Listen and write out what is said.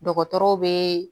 Dɔgɔtɔrɔw bee